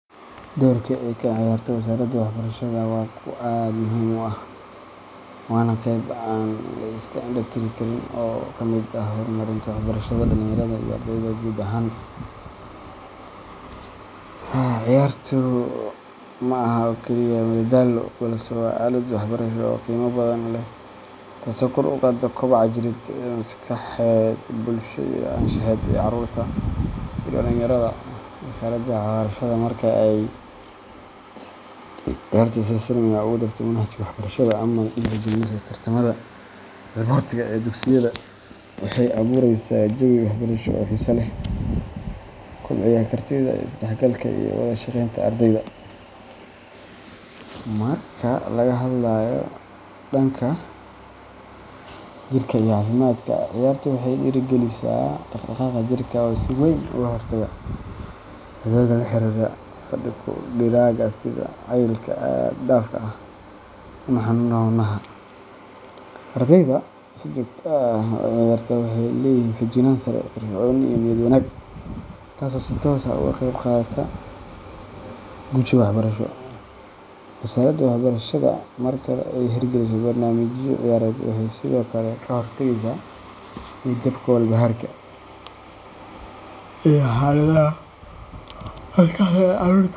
Doorarka ay ciyaartu ka ciyaarto wasaaradda waxbarashada waa kuwo aad u muhiim ah, waana qayb aan la iska indho tiri karin oo ka mid ah horumarinta waxbarashada dhallinyarada iyo ardayda guud ahaan. Ciyaartu ma aha oo keliya madadaalo, balse waa aalad waxbarasho oo qiimo badan leh, taasoo kor u qaadda koboca jireed, maskaxeed, bulsho iyo anshaxeed ee carruurta iyo dhallinyarada. Wasaaradda waxbarashada marka ay ciyaarta si rasmi ah ugu darto manhajka waxbarashada ama ay dhiirrigeliso tartamada isboortiga ee dugsiyada, waxay abuuraysaa jawi waxbarasho oo xiiso leh, kobciya kartida is-dhexgalka iyo wada shaqaynta ardayda. Marka laga hadlayo dhanka jirka iyo caafimaadka, ciyaartu waxay dhiirrigelisaa dhaqdhaqaaqa jirka oo si weyn uga hortaga cudurrada la xiriira fadhi-ku-diraagga sida cayilka xad-dhaafka ah ama xanuunada wadnaha. Ardayda si joogto ah u ciyaarta waxay leeyihiin feejignaan sare, firfircooni iyo niyad wanaag, taasoo si toos ah uga qayb qaadata guusha waxbarasho. Wasaaradda waxbarashada marka ay hirgeliso barnaamijyo ciyaareed waxay sidoo kale ka hortagaysaa niyad-jabka, walbahaarka, iyo xaaladaha maskaxda.